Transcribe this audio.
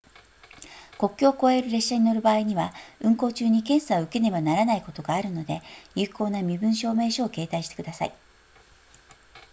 国境を越える列車に乗る場合には運行中に検査を受けねばならないことがあるので有効な身分証明書を携帯してください